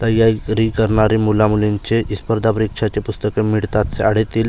तैयारी करणारी मुलामुलींचे स्पर्धा परीक्षांचे पुस्तकं मिळतात शाळेतील--